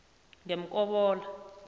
ngemkobola